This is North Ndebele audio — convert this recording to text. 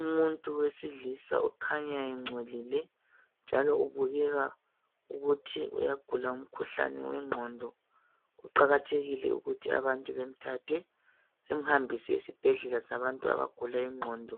umuntu owesilisa okhanya encolile njalo ubukeka ukuthi uyagula umkhuhlane wenqondo kuqakathekile ukuthi abantu bemthathe bemhambise esibhedlela sabantu abagula inqondo